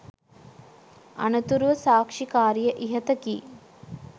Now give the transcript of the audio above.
අනතුරුව සාක්ෂිකාරිය ඉහත කී